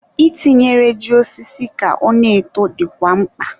I tinyere ji osisi ka ọ na-eto dịkwa mkpa.